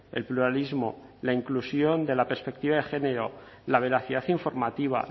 el pluralismo la inclusión de la perspectiva de género la veracidad informativa